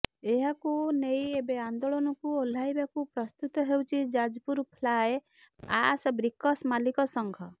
ଏହାକୁ ନେଇ ଏବେ ଆନ୍ଦୋଳନକୁ ଓହ୍ଳାଇବାକୁ ପ୍ରସ୍ତୁତ ହେଉଛି ଯାଜପୁର ଫ୍ଲାଏ ଆଶ୍ ବ୍ରିକସ୍ ମାଲିକ ସଙ୍ଘ